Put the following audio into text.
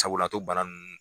Sabula a t'o bana nun